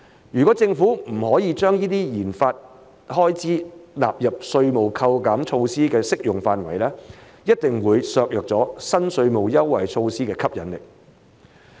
如果政府不可將這些研發開支納入稅務扣減措施的適用範圍，一定會削弱新稅務措施的吸引力。